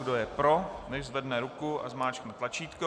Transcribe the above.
Kdo je pro, nechť zvedne ruku a zmáčkne tlačítko.